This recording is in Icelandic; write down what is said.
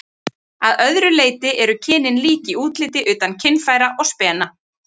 Að öðru leyti eru kynin lík í útliti utan kynfæra og spena.